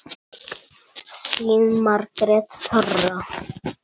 Þín, Margrét Þóra.